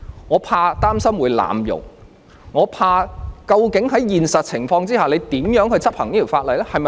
我擔心政府會濫用法例，我怕當局究竟在現實情況下，會怎樣執行這項法例？